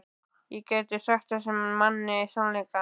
Ég gæti sagt þessum manni sannleikann.